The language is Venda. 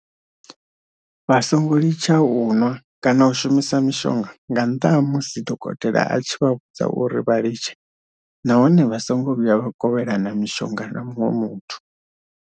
Vha songo litsha u nwa kana u shumisa mishonga nga nnḓa ha musi dokotela a tshi vha vhudza uri vha litshe nahone vha songo vhuya vha kovhelana mishonga na muṅwe muthu.